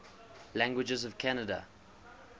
languages of canada